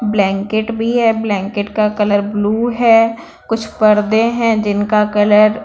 blanket में है blanket का कलर ब्लू है कुछ पर्दे हैं जिनका कलर ---